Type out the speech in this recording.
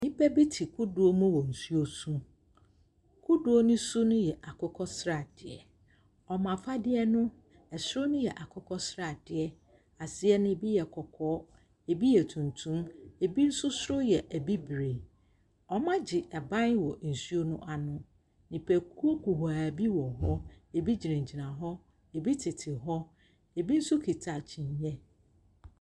Nnipa bi te kodoɔ mu wɔ nsuo so. Kodoɔ no su yɛ akokɔsradeɛ. Ɔmo afadeɛ no, ɛsoro yɛ akokɔsradeɛ, aseɛ no, ebi yɛ kɔkɔɔ, ebi yɛ tuntum, ebi nso so yɛ abibire. Ɔmo agye aban wɔ nsuo no ano. Nnipakuw kuhaa bi wɔhɔ. Ebi gyina gyina hɔ. Ebi tete hɔ. Ebi nso kita kyeneɛ.